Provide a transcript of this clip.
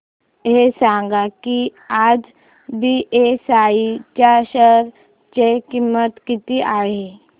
हे सांगा की आज बीएसई च्या शेअर ची किंमत किती आहे